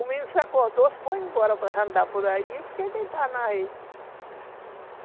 O menino se acordou, se foi embora para andar por aí e fiquei deitada na rede.